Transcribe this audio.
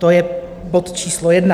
To je bod číslo jedna.